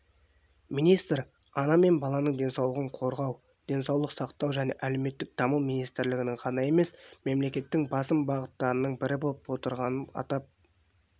министр ана мен баланың денсаулығын қорғау денсаулық сақтау және әлеуметтік даму министрлігінің ғана емес мемлекеттің басым бағыттарының бірі болып отырғанын атап